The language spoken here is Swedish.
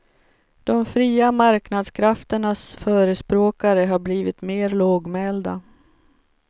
De fria marknadskrafternas förespråkare har blivit mer lågmälda.